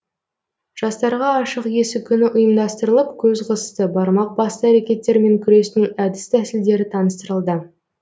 жастарға ашық есік күні ұйымдастырылып көз қысты бармақ басты әрекеттермен күрестің әдіс тәсілдері таныстырылды